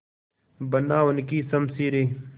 बना उनकी शमशीरें